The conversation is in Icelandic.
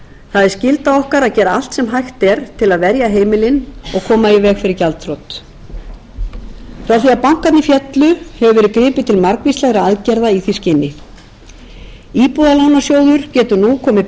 er skylda okkar að gera allt sem hægt er til að verja heimilin og koma í veg fyrir gjaldþrot frá því að bankarnir féllu hefur verið gripið til margvíslegra aðgerða í því skyni íbúðalánasjóður getur nú komið betur